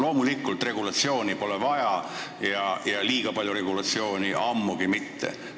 Muidugi, regulatsiooni pole vaja ja liiga palju regulatsiooni ammugi mitte.